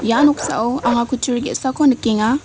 ia noksao anga kutturi ge·sako nikenga.